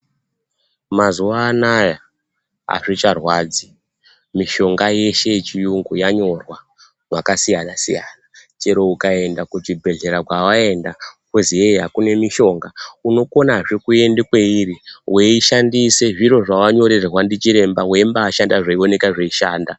Mazuwa ana azvicharwadzi mishonga yeshe yechiyungu yanyora kwakasiyana-siyana chero ukaenda kuchibhedhleya kwawaenda kwozi yei akuna mushonga, unokonazve kuende kweiri weishandise zviro zvawanyorerwa ndichiremba weimbashanda weiona zveimbaashanda.